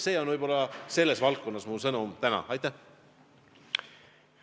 See on võib-olla minu sõnum täna selles valdkonnas.